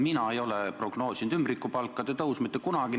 Näiteks mina ei ole prognoosinud ümbrikupalkade tõusu mitte kunagi.